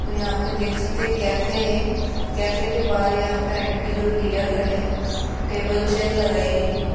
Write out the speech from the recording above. और यहां पे देख सकते कैफे है कैफे के बाहर यहां पर आंटी और भइया खड़े है टेबल चेयर लगाई गई है।